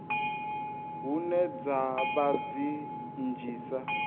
hune dza vha dzi nnzhisa